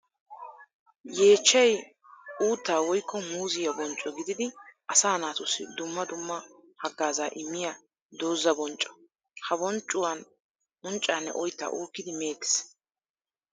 Yeechchay uutta woykko muuziya boncco gididi asaa naatussi dumma dumma hagaaza immiya dooza boncco. Ha bonccuwan unccanne oytta uukidi meettes.